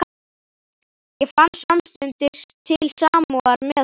Ég fann samstundis til samúðar með honum.